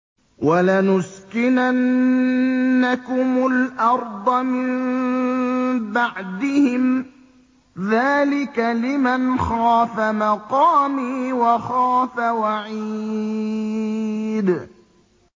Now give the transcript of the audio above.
وَلَنُسْكِنَنَّكُمُ الْأَرْضَ مِن بَعْدِهِمْ ۚ ذَٰلِكَ لِمَنْ خَافَ مَقَامِي وَخَافَ وَعِيدِ